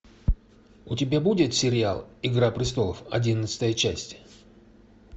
у тебя будет сериал игра престолов одиннадцатая часть